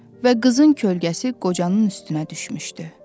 Və qızın kölgəsi qocanın üstünə düşmüşdü.